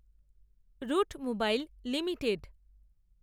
root Mobile limited